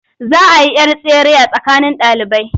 Za a yi 'yar tsere a tsakanin ɗalibai.